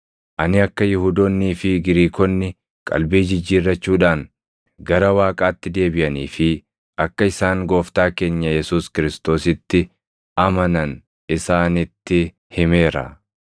Ani akka Yihuudoonnii fi Giriikonni qalbii jijjiirrachuudhaan gara Waaqaatti deebiʼanii fi akka isaan Gooftaa keenya Yesuus Kiristoositti amanan isaanitti himeera.